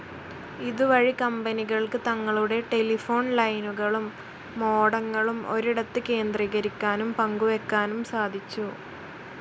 ഇതുവഴി കമ്പനികൾക്ക് തങ്ങളുടെ ടെലിഫോൺ ലൈനുകളും മോഡങ്ങളും ഒരിടത്ത് കേന്ദ്രീകരിക്കാനും പങ്കുവെക്കാനും സാധിച്ചു.